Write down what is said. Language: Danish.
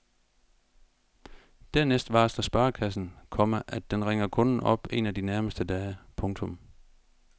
Dernæst varsler sparekassen, komma at den ringer kunden op en af de nærmeste dage. punktum